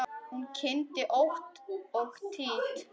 Hún kyngdi ótt og títt.